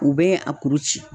U bɛ a kuru ci.